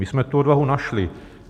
My jsme tu odvahu našli.